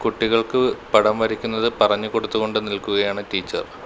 കുട്ടികൾക്ക് പടം വരയ്ക്കുന്നത് പറഞ്ഞു കൊടുത്തുകൊണ്ട് നിൽക്കുകയാണ് ടീച്ചർ .